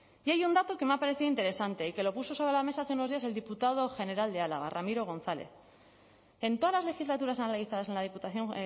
y hay un dato que me ha parecido interesante y que lo puso sobre la mesa hace unos días el diputado general de álava ramiro gonzález en todas las legislaturas analizadas en la diputación